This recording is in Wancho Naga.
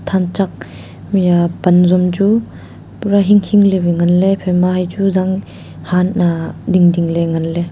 thanchak hia pan zung chu pura hinh hing ley wai ngan ley ephaima hai chu zanghaan a ding ding ley ngan ley.